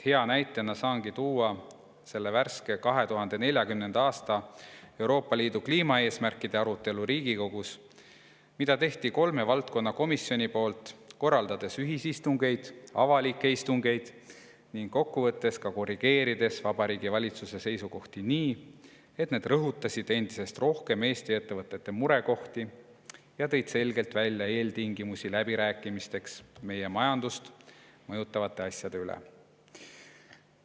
Hea näitena saangi tuua selle värske, Euroopa Liidu 2040. aasta kliimaeesmärkide arutelu Riigikogus, mida tegid kolm valdkonnakomisjoni, korraldades ühisistungeid, avalikke istungeid ning kokkuvõttes korrigeerides Vabariigi Valitsuse seisukohti nii, et need rõhutasid endisest rohkem Eesti ettevõtete murekohti ja tõid selgelt välja eeltingimused läbirääkimisteks meie majandust mõjutavate asjade üle.